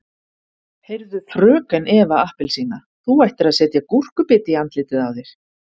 Heyrðu FRÖKEN Eva appelsína þú ættir að setja gúrkubita í andlitið á þér.